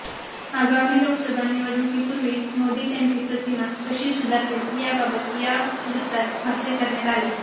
आगामी लोकसभा निवडणुकीपूर्वी मोदी त्यांची प्रतिमा कशी सुधारतील याबाबत या वृत्तात भाष्य करण्यात आलंय